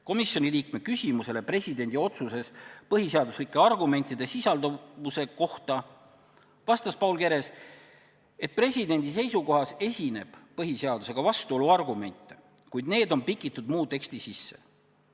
Komisjoni liikme küsimusele presidendi otsuses põhiseaduslike argumentide sisalduvuse kohta vastas Paul Keres, et presidendi seisukohas esineb põhiseadusega vastuolu argumente, kuid need on pikitud muu teksti sisse.